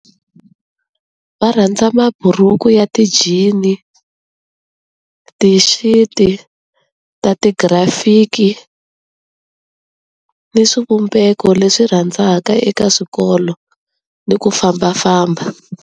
Va rhandza maburhuku ya ti-jean-i, ti-shirt-i ta ti-graphic-i ni swivumbeko leswi rhandzaka eka swikolo ni ku fambafamba.